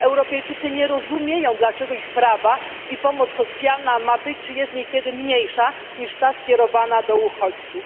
Europejczycy nie rozumieją, dlaczego ich prawa i pomoc socjalna mają być czy nawet niekiedy już są mniejsze niż pomoc skierowana do uchodźców.